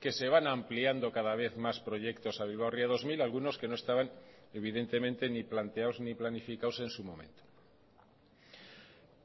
que se van ampliando cada vez más proyectos a bilbao ría dos mil algunos que no estaban evidentemente ni planteados ni planificados en su momento